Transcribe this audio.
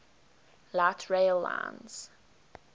light rail lines